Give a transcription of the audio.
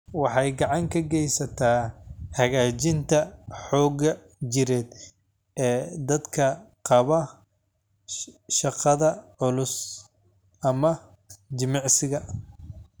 Waxay gacan ka geysataa hagaajinta xoogga jireed ee dadka qaba shaqada culus ama jimicsiga.